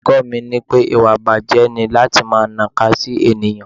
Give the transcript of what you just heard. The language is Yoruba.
Olùkọ́ mi wí pé ìwà ìbàjé ni láti máa naka sí ènìyàn.